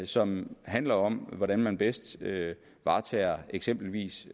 som handler om hvordan man bedst varetager eksempelvis